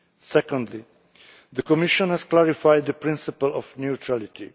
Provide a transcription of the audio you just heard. Secondly, the Commission has clarified the principle of neutrality.